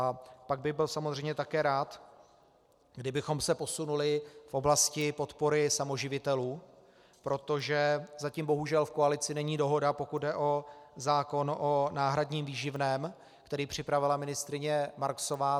A pak bych byl samozřejmě také rád, kdybychom se posunuli v oblasti podpory samoživitelů, protože zatím bohužel v koalici není dohoda, pokud jde o zákon o náhradním výživném, který připravila ministryně Marksová.